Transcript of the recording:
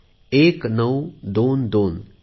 1922 एकोणीसशे बावीस